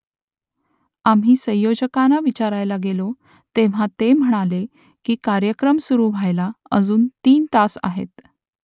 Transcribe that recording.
आम्ही संयोजकांना विचारायला गेलो तेव्हा ते म्हणाले की कार्यक्रम सुरू व्हायला अजून तीन तास आहेत